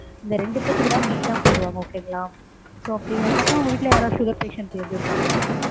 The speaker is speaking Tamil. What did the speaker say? இந்த ரெண்டு பேத்துக்குதா main ஆ போடுவாங்க okay ங்களா? so அப்படி உங்க வீட்ல sugar patients ஏதும் இருக்காங்களா சார்?